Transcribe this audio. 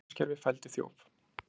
Öryggiskerfi fældi þjóf